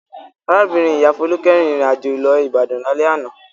Arábìnrin-ìyá Folúkẹ́ rìnrìn-àjò lọ Ìbàdàn lálẹ́ àná.